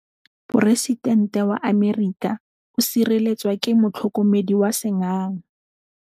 Poresitêntê wa Amerika o sireletswa ke motlhokomedi wa sengaga.